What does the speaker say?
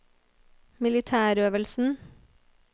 militærøvelsen